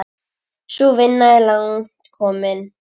Sú vinna er langt komin.